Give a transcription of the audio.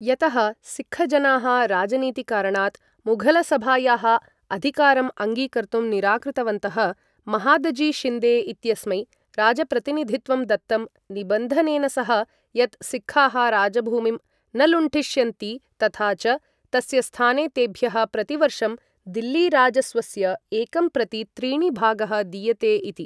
यतः सिक्खजनाः राजनीतिकारणात् मुघलसभायाः अधिकारम् अङ्गीकर्तुं निराकृतवन्तः, महादजी शिन्दे इत्यस्मै राजप्रतिनिधित्वं दत्तं निबन्धनेन सह, यत् सिक्खाः राजभूमिं न लुण्ठिष्यन्ति तथा च तस्य स्थाने तेभ्यः प्रतिवर्षं दिल्लीराजस्वस्य एकं प्रति त्रीणि भागः दीयते इति।